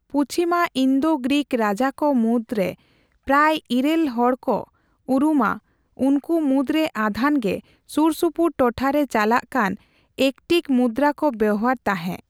ᱯᱩᱪᱷᱤᱢᱟ Indo Greek ᱨᱟᱡᱟ ᱠᱚ ᱢᱩᱫᱨᱮ ᱯᱨᱟᱭ ᱤᱨᱟᱹᱞ ᱦᱚᱲ ᱠᱚ ᱩᱨᱩᱢᱟ', ᱩᱱᱠᱩ ᱢᱩᱫᱨᱮ ᱟᱫᱷᱟᱱᱼᱜᱮ ᱥᱩᱨᱼᱥᱩᱯᱩᱨ ᱴᱚᱴᱷᱟ ᱨᱮ ᱪᱟᱞᱟᱜ ᱠᱟᱱ ᱮᱠᱴᱤᱠ ᱢᱩᱫᱨᱟ ᱠᱚ ᱵᱮᱣᱦᱟᱨ ᱛᱟᱦᱮᱸ ᱾